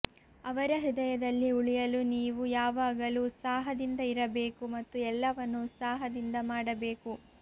ಅವರ ಹೃದಯದಲ್ಲಿ ಉಳಿಯಲು ನೀವು ಯಾವಾಗಲೂ ಉತ್ಸಾಹದಿಂದ ಇರಬೇಕು ಮತ್ತು ಎಲ್ಲವನ್ನು ಉತ್ಸಾಹದಿಂದ ಮಾಡಬೇಕು